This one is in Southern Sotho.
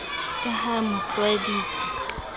ka ha a mo tlwaeditse